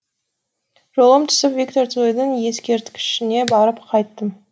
жолым түсіп виктор цойдың ескерткішіне барып қайттым